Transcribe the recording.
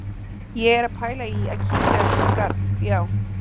Ég er að pæla í að kíkja aðeins út í garð, já.